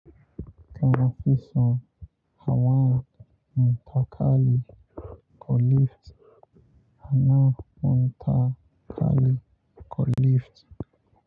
Kafi son hawa matakala ko lift? Kafison matakala ko lift?